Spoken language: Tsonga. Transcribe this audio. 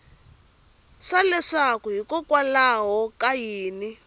swa leswaku hikokwalaho ka yini